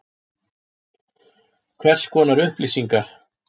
Hvers konar upplýsingar?